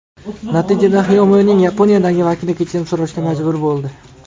Natijada Xiaomi’ning Yaponiyadagi vakili kechirim so‘rashga majbur bo‘ldi.